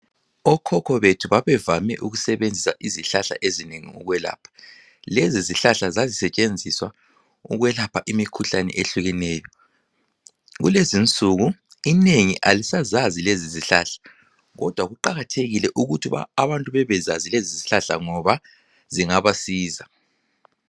Okhokho bethu babevame ukusebenzisa izihlahla ezinengi ukwelapha, lezi zihlahla zazisetshenziswa ukwelapha imkhuhlane ehlukeneyo. Kulezinsuku inengi alisazazi lezi zihlahla kodwa kuqakathekile ukuthi abantu bebe zazi lezi zihlahla ngoba zingabasiza.